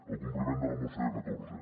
el com·pliment de la moció catorze